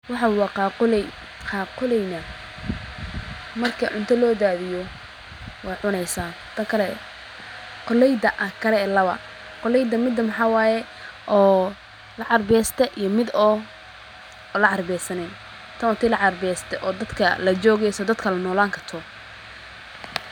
Waxaa waa qaa kuley, qaa kuleyna marka unta lo daadiyo waay cuneysa takale. Kuleyda akare lawa kuleyda midan xawaaye oo laca besde iyo mid oo lacar bessane. Tan ootay lacag besde oo dadka la joogayso dadka la noolaan karto.